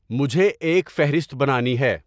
مجھے ایک فہرست بنانی ہے